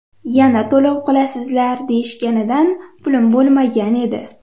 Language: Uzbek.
Yana to‘lov qilasizlar, deyishganida pulim bo‘lmagan edi.